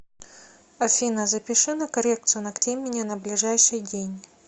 афина запиши на коррекцию ногтей меня на ближайший день